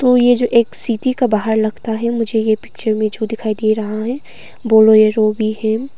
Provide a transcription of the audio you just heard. तो ये जो एक सीटी का बाहर लगता है मुझे यह पिक्चर में जो दिखाई दे रहा है बोलो यह जो भी है।